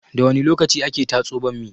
Da wani lokaci ake tatso bammi?